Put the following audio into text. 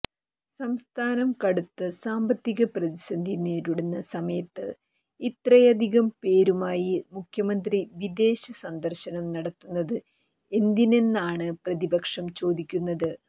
സംസ്ഥാനം കടുത്ത സാമ്പത്തിക പ്രതിസന്ധി നേരിടുന്ന സമയത്ത് ഇത്രയധികം പേരുമായി മുഖ്യമന്ത്രി വിദേശ സന്ദര്ശനം നടത്തുന്നത് എന്തിനെന്നാണ് പ്രതിപക്ഷം ചോദിക്കുന്നത്